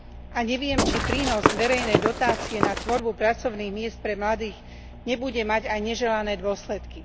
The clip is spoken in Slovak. A neviem, či prínos verejnej dotácie na tvorbu pracovných miest pre mladých nebude mať aj neželané dôsledky.